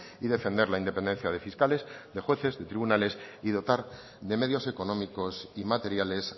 y defender la independencia de fiscales de jueces y de tribunales y dotar de medios económicos y materiales